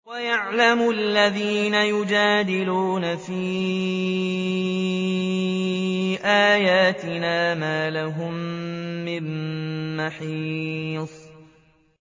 وَيَعْلَمَ الَّذِينَ يُجَادِلُونَ فِي آيَاتِنَا مَا لَهُم مِّن مَّحِيصٍ